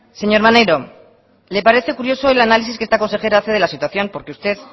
señor maneiro le parece curioso el análisis que esta consejera hace de la situación porque usted